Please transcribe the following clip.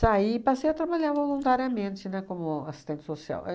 Saí e passei a trabalhar voluntariamente, né, como assistente social.